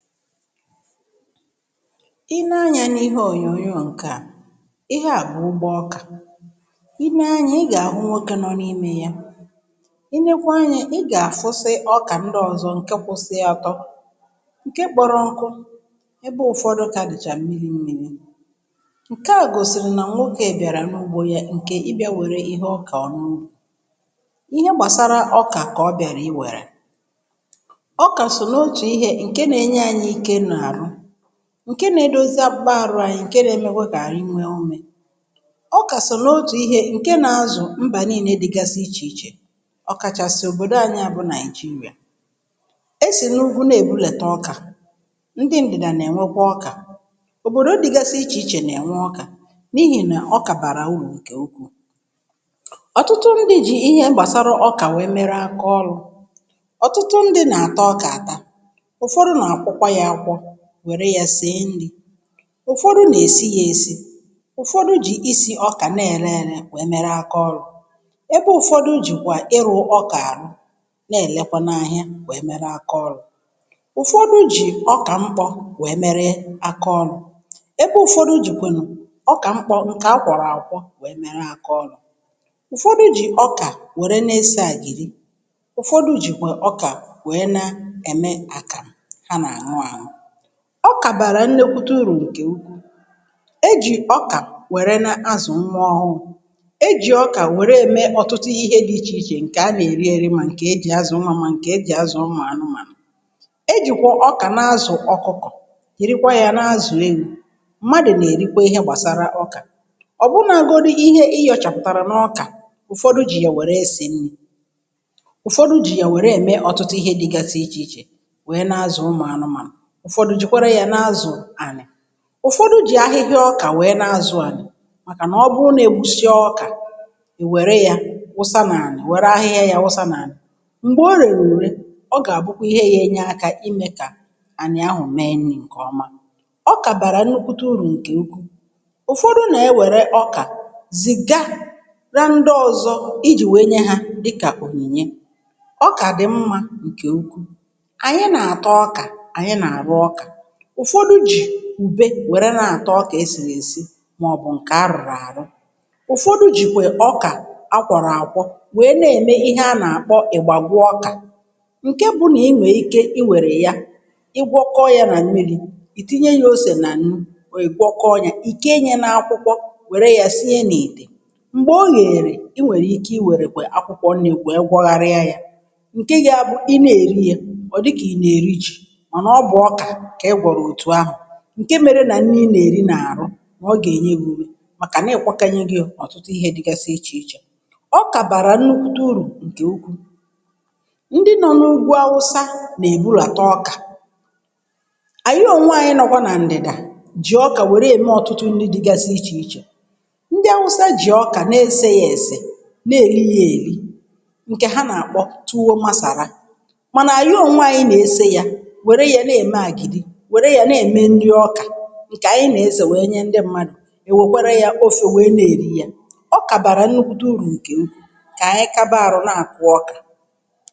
i nee anyȧ n’ihe òyònyò ǹkè a, ihe à bụ̀ ụgbọ ọkà. Ị nee anyȧ ị gà-àhụ nwoke nọ n’imė y, i nekwuo anyȧ ị gà-àfụsị̀ ọkà ndị ọ̀zọ ǹke kwụsị ọtọ, ǹke kpọrọ nkụ, ebe ụ̀fọdụ kà dị̀chà mmiri mmiri̇. Ṅke à gòsìrì nà ǹwokė bịàrà n’ugbȯ yȧ ǹkè ị bịa wère ihe ọkọọ n’ubi. Ịhe gbàsara ọkà kà ọ bịàrà i wèrè. Ọka so n’otu ihe nke na enye anyi ike n’arụ, ǹke nȧ-edozi akpukpa àrụ anyị, ǹke nȧ-emekwa kà àrụ anyi, nke n’emekwe ka anyị nwe ume. Ọkà sọ̀ nà otù ihė ǹke nȧ-azụ̀ mbà nii̇ne dịgasi ichè ichè, ọkàchàsị̀ òbòdo anyị̇ à bụ nàị̀jịrịà. E sì n’ugwu na-èbudète ọkà, ndị ǹdìdà nà-ènwekwa ọkà, òbòdò dịgasi ichè ichè nà-ènwe ọkà n’ihì nà ọkà bàrà urù ǹkè ụkwuù.. Ọtụtụ ndị jì ihe gbàsara ọkà wee mere akaọlụ̇. Ọtụtụ ndị nà-àtọ ọkà àta, ufọdụ na akwọkwa ya akwọ, were ya sie nri, ụfọdụ na esi ya esi, ụfọdụ ji isi ọka na ere ere wee mere aka ọrụ, ebe ụ̀fọdụ jìkwa ịhụ̇ ọkà-àhụ na-èlekwa n’ȧhịȧ wèe mere aka ọrụ. Ụfọdụ jì ọkà mkpọ̇ wèe mere aka ọrụ, ebe ụ̀fọdụ jìkwenu̇ ọkà mkpọ̇ ǹkè akwọ̀rọ̀ akwọ wèe mere aka ọrụ. Ụfọdụ jì ọkà wère na-ese àgìdi, ụ̀fọdụ jìkwèe ọkà wèe na-ème akàmụ a na aṅụ aṅụ. Ọkà bàrà nnėkwute urù ǹkè ukwuu, ejì ọkà wère n’azụ̀ nwa ọhụrụ̇, ejì ọkà wère emee ọ̀tụtụ ihe dị̇ ichè ichè ǹkè a nà-èri ėri̇ mà ǹkè ejì azụ̀ nwa, mà ǹkè ejì azụ̀ ụmụ̀ anụmànụ̀. Ejìkwà ọkà n’azụ̀ ọkụkọ̀, jìrìkwà yà n’azụ̀ ewu, mmadụ̀ nà-èrikwa ihe gbàsara ọkà, ọ̀bụnȧgȯdụ ihe ihi̇ọchàpụ̀tàrà n’ọkà, ụ̀fọdụ jì yà wère esè, ụ̀fọdụ jì yà wère ème ọ̀tụtụ ihe dịgasi ichè ichè. Ụfọdụ jìkwere ya n’azụ̀ ànị̀; ụ̀fọdụ jì ahịhịa ọkà nwèe na-azụ ànị̀ màkà nà ọ bụrụ na-egbusịa ọkà, nwère ya wụsa n’ànị̀, nwère ahịhịa ya wụsa n’ànị̀, m̀gbè ọrịere ùrè, ọ gà-àbụkwa ihe ga enye aka imė kà ànị̀ ahụ̀ mee nri̇ ǹkè ọma. Ọkà bàrà nnukwute urù ǹkè ukwu; ụ̀fọdụ nà-ewère ọkà zìgará ndị ọzọ ijì nwèe nye ha dịkà ònyìnye. Ọkà dị̀ mmȧ ǹkè ukwu; anyi na ata ọka, anyi na arụ ọka, ụfọdụ ji ùbe wère na-ata ọkà esìrì èsi màọbụ̀ ǹkè a rụ̀rụ̀ àrụ, ụ̀fọdụ jìkwè ọkà a kwọ̀rọ̀ àkwọ wèe na-ème ihe a nà-àkpọ ị̀gbàgwụ ọkà, ǹkè bụ nà i nwèrè ike i wèrè ya ịgwọkọọ yȧ nà mmiri̇, ìtinye yȧ osè nà nnu, ìgwọkọọ yȧ, ikee nye na akwụkwọ, wère yȧ sinye nà ite, m̀gbè o yèrè, i nwèrè ike i wèrèkwè akwụkwọ nri were gwọgharịa yȧ, ǹkè gȧ bụ̀, ị na èri yȧ ọ̀ dịkà ị nà èri jì, mana ọ bụ ọka ka i gwọro otu ahụ, ǹke mėrė nà nri ị nà-èri nà-àrụ, nà ọ gà-ènye gi ume, màkà nà-èkwokọnye gị ye ọtụtụ ihė dịgasị ichè ichè. Ọkà bàrà nnukwute urù ǹkè ukwu, ndị nọ n’ugwu awụsa nà-èbudàtà ọkà, ànyị onwe anyi nọkwa nà ǹdị̀dà jì ọkà nwère ème ọ̀tụtụ nrị dịgasị ichè ichè. Ndị awụsa jì ọkà nà-ese yȧ èse, nà èrị ya ėri̇, ǹkè ha nà-àkpọ tùo masàra, mànà ànyị onwe anyi nà-ese ye were ye na-eme agidi, were ye n-eme nri ọka, ǹkè ànyị nà-ese wèe nye ndị mmadụ̀ nwekwere yȧ ofė wèe nà-èri yȧ. Okà bàrà nnukwute urù ǹkè ukwuu, kà ànyị kaba arụ̇ nà-àkụ ọkà.